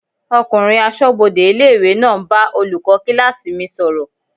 Ọkùnrin asọ́bodè ilé-ìwé náà ń bá olùkọ́ kílásì mi sọ̀rọ̀